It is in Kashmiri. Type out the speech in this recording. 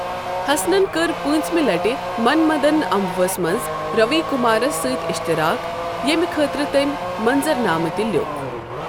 ہسنن کٔر پٲنژِمہِ لٹہِ من مدن امبوٗ ہس منز روی کُمارس سٕتۍ اشتراک ، ییمہِ خٲطرٕ تٔمۍ منظرنامہٕ تہِ لیوُکھ ۔